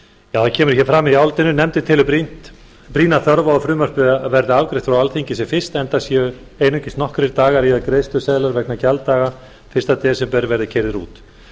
það kemur hér fram í álitinu nefndin telur brýna þörf á að frumvarpið verði afgreitt frá alþingi sem fyrst enda séu einungis nokkrir dagar í að greiðsluseðlar vegna gjalddaga fyrsta desember verði keyrðir út